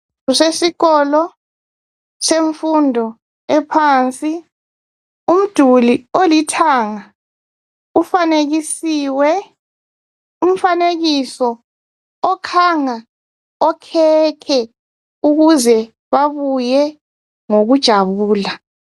Kusesikolo semfundo ephansi. Umduli olithanga ufanekisiwe umfanekiso okhanga okhekhe ukuze babuye ngokujabula